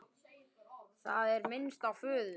Það er minnst á föður